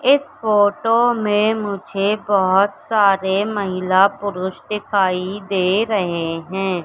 एक फोटो में मुझे बोहोत सारे महिला-पुरुष दिखाई दे रहे हैं।